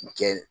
Kɛ